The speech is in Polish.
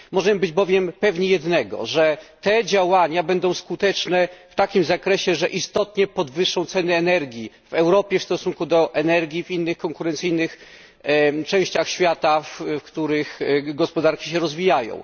Możemy być bowiem pewni jednego te działania będą skuteczne w takim zakresie, że istotnie podwyższą ceny energii w Europie w stosunku do energii w innych konkurencyjnych częściach świata, w których gospodarki się rozwijają.